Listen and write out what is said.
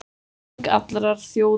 Þing allrar þjóðarinnar